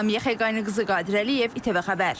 Lamiyə Xəqaniqızı, Qadir Əliyev, ATV Xəbər.